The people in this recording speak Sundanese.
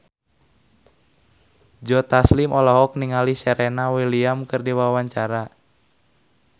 Joe Taslim olohok ningali Serena Williams keur diwawancara